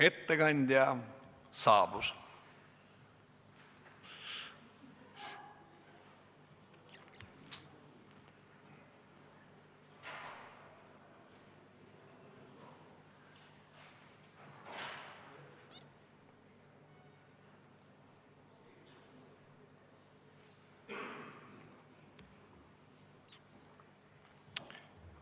Ettekandja saabus.